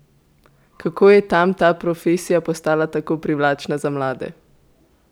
Kako je tam ta profesija postala tako privlačna za mlade?